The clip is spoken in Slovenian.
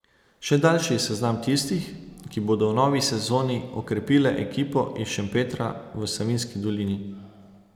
Še daljši je seznam tistih, ki bodo v novi sezoni okrepile ekipo iz Šempetra v Savinjski dolini.